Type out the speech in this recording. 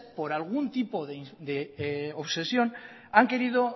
por algún tipo de obsesión han querido